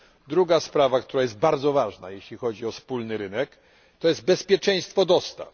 Druga sprawa, która jest bardzo ważna, jeśli chodzi o wspólny rynek, to bezpieczeństwo dostaw.